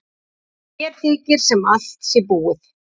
Björn keypti einhvern tíma kú af sveitunga sínum.